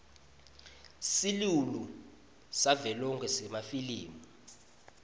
silulu savelonkhe semafilimu